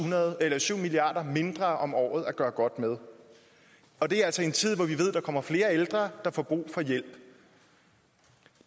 milliard kroner mindre om året at gøre godt med og det er altså i en tid hvor vi ved at der kommer flere ældre der får brug for hjælp